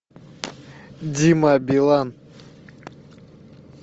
дима билан